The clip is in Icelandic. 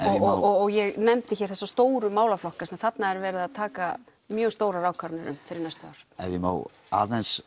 og ég nefndi hér þessa stóru málaflokka sem þarna er verið að taka mjög stórar ákvarðanir um fyrir næstu ár ef ég má aðeins